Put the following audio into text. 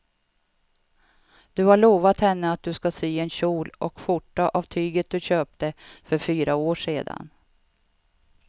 Du har lovat henne att du ska sy en kjol och skjorta av tyget du köpte för fyra år sedan.